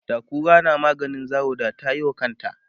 da kura na maganin zawo da tayiwa kanta